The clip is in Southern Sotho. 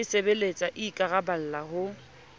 e sebeletsang e ikaraballang ho